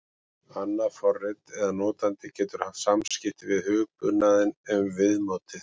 Annað forrit eða notandi getur haft samskipti við hugbúnaðinn um viðmótið.